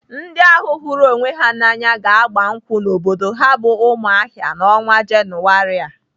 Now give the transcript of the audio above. Ndị ahụ hụrụ onwe ha n'anya ga-agba nkwụ n'obodo ha bụ Umuahia n'ọnwa Jenụwarị a.